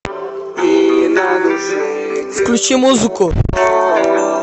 включи музыку